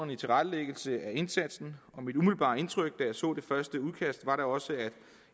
i tilrettelæggelsen af indsatsen og mit umiddelbare indtryk da jeg så det første udkast var da også at